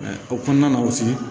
o kɔnɔna na